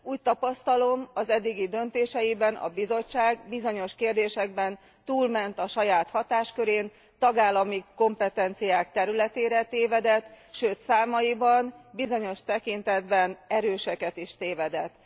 Úgy tapasztalom, az eddigi döntéseiben a Bizottság bizonyos kérdésekben túlment a saját hatáskörén, tagállami kompetenciák területére tévedt, sőt számaiban bizonyos tekintetben erőseket is tévedett.